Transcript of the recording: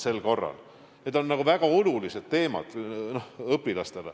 Need on eelkõige õpilastele väga olulised teemad.